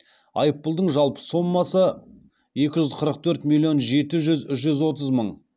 айыппұлдың жалпы сомасы екі жүз қырық төрт миллион жеті жүз жүз отыз мың